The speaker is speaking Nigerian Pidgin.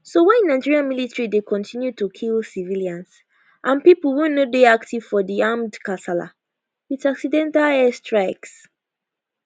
so why nigerian military dey continue to kill civilians and pipo wey no dey active for di armed kasala wit accidental airstrikes